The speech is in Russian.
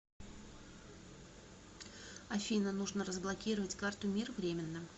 афина нужно разблокировать карту мир временно